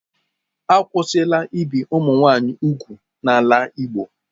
Akwụsịla ibi ụmụ nwanyị úgwù n'ala Igbo.